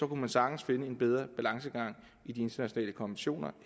kunne man sagtens finde en bedre balance i internationale konventioner